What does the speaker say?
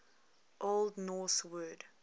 old norse word